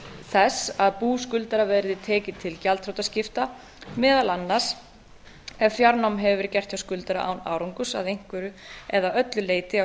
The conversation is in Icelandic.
þess að bú skuldara verði tekið til gjaldþrotaskipta meðal annars ef fjárnám hefur verið gert hjá skuldara án árangurs að einhverju leyti eða öllu á